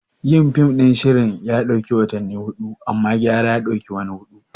Yin fim ɗin na shirin ya ɗauki watanni biyu, amma gyara ya ɗauki wani hudu.